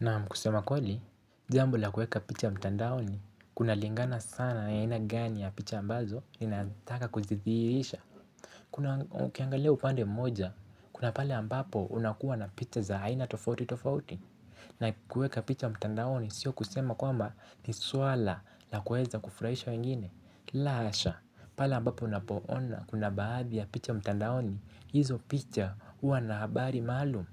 Naam kusema kweli, jambo la kueka picha mtandaoni, kunalingana sana na ni aina gani ya picha ambazo, ni nataka kuzithirisha Kuna ukiangalia upande mmoja, kuna pale ambapo unakuwa na picha za haina tofauti tofauti na kueka picha mtandaoni, sio kusema kwamba ni swala la kuweza kufurahisha wengine la hasha, pale ambapo unapo ona kuna baadhi ya picha mtandaoni, hizo picha huwa na habari maalum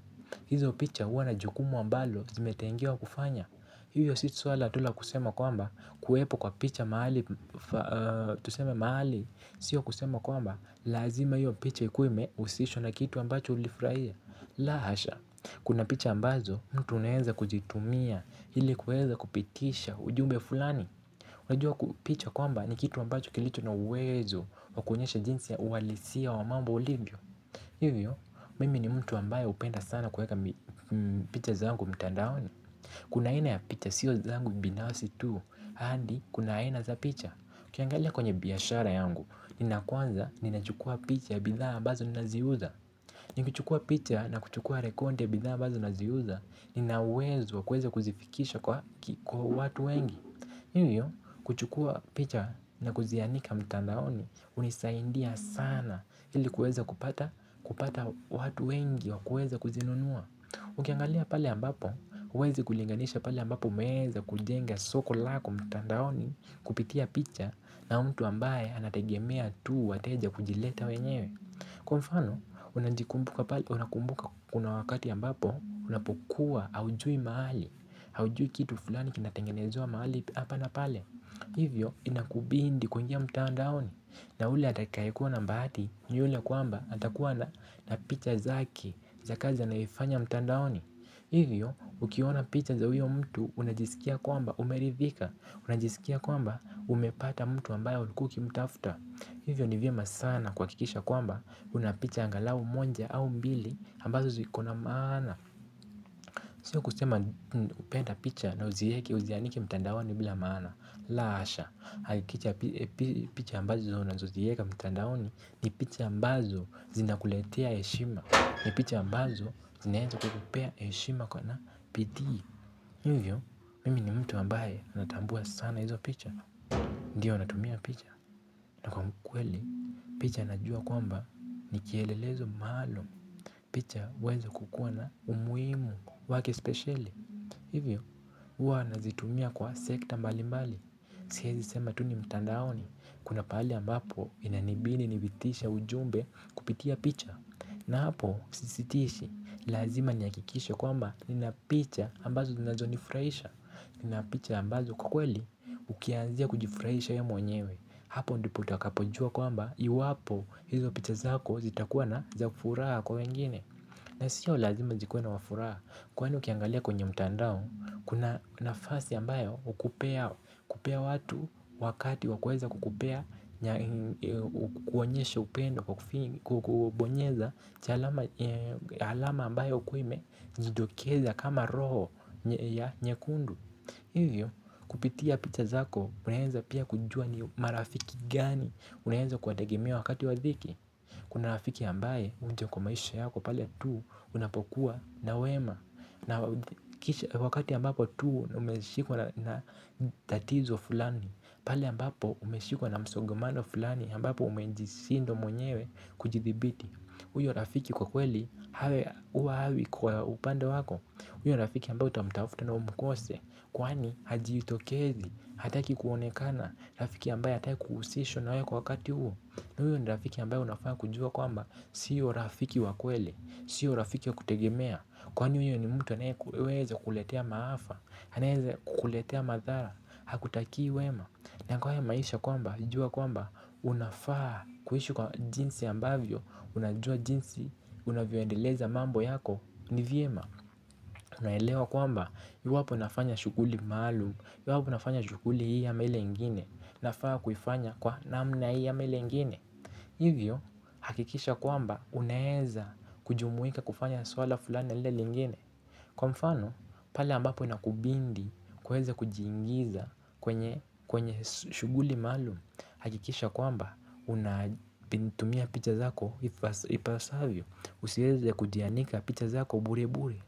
hizo picha huwa na jukumu ambalo zimetengewa kufanya hiyo si swala tu la kusema kwamba kuwepo kwa picha mahali Tusema mahali Sio kusema kwamba lazima hiyo picha ikuwe imehusishwa na kitu ambacho ulifurahia la hasha, kuna picha ambazo mtu unaenza kujitumia ili kuweza kupitisha ujumbe fulani Unajua ku picha kwamba ni kitu ambacho kilicho na uwezo wakuonyesha jinsi ya uwalisia wa mambo ulivyo.hivyo, mimi ni mtu ambaye hupenda sana kuweka picha zangu mtandaoni Kuna aina ya picha sio zangu binafsi tu, hadi kuna aina za picha ukiangalia kwenye biashara yangu, nina kwanza ninachukua picha ya bidhaa ambazo nina ziuza ni kuchukua picha na kuchukua rekonde ya bidhaa ambazo naziuza, nina uwezo wa kuweza kuzifikisha kwa watu wengi Hivyo kuchukua picha na kuzianika mtandaoni huisaindia sana ili kueza kupata kupata watu wengi wa kueza kuzinunua Ukiangalia pale ambapo huwezi kulinganisha pale ambapo umeza kujenga soko lako mtandaoni kupitia picha na mtu ambaye anategemea tu wateja kujileta wenyewe. Kwa mfano, unakumbuka kuna wakati ambapo, unapokua haujui mahali, haujui kitu fulani kinatengenezwa mahali hapa na pale Hivyo, inakubindi kuingia mtandaoni, na ule atakaye kuwa na mbahati, ni yule kwamba atakuwa na na picha zake za kazi anayoifanya mtandaoni Hivyo, ukiona picha za huyo mtu, unajisikia kwamba umeridhika, unajisikia kwamba umepata mtu ambayo ulikuwa ukimtafuta. Hivyo ni vyema sana kuhakikisha kwamba una picha angalau monja au mbili ambazo ziko na maana. Sio kusema kupenda picha na uzieke uzianike mtandaoni bila maana. La asha. Hikicha picha ambazo unazozieka mtandaoni ni picha ambazo zinakuletea heshima. Ni picha ambazo zinaeza kukupea heshima kwa na bidii. Hivyo mimi ni mtu ambaye natambua sana hizo picha. Ndiyo natumia picha na kwa mkweli picha najua kwamba nikielelezo maluum picha huweza kukua umuhimu wake speciali hivyo uwa nazitumia kwa sekta mbali mbali siezi sema tu ni mtandaoni kuna pahali ambapo inanibidi nivitishe ujumbe kupitia picha na hapo, sisitishi, lazima nihakikishe kwamba nina picha ambazo zinazo nifurahisha Nina picha ambazo kwa kweli, ukianzia kujifurahisha ye mwenyewe Hapo ndipo utakapojua kwamba, iwapo hizo picha zako zitakuwa na za kufuraha kwa wengine na siyo lazima zikuwe na wafuraha Kwani ukiangalia kwenye mtandao, kuna nafasi ambayo hukupea kupea watu wakati wakuweza kukupea kuonyesha upendo Kukubonyeza Chalama alama ambaye hukuwa ime jidokeza kama roho nyekundu Hivyo kupitia picha zako unaenza pia kujua ni marafiki gani unaenza kuwategemea wakati wa dhiki Kuna rafiki ambaye huja kwa maisha yako pale tu unapokuwa na wema na kisha wakati ambapo tu umeshikwa na tatizo fulani pale ambapo umeshikwa na msongomano fulani ambapo umenjisindwa mwenyewe kujithibiti huyo rafiki kwa kweli hawe huwa hawi kwa upande wako Uyo rafiki ambayo utamtafuta na umkose Kwani hajiitokezi hataki kuonekana rafiki ambaye hataki kuhusishwa na wewe kwa wakati huo huyo ni rafiki ambayo unafaa kujua kwamba siyo rafiki wa kweli siyo rafiki wa kutegemea kwani huyo ni mtu anaeweza kukuletea maafa anaeza kukuletea madhara hakutakii wema na kwa haya maisha kwamba, jua kwamba, unafaa kuishi kwa jinsi ambavyo, unajua jinsi, unavyoendeleza mambo yako, ni vyema Unaelewa kwamba, yu wapo nafanya shughuli maalum, iwapo unafanya shughuli hii ama ile ingine, inafaa kuifanya kwa namna hii ama ile ingine hivyo, hakikisha kwamba, unaeza kujumuika kufanya swala fulani na lile lingine kwa mfano, pale ambapo inakubindi kuweza kujiingiza kwenye kwenye shughuli maluum, hakikisha kwamba unatumia picha zako ipasavyo, usieze kudianika picha zako bure bure.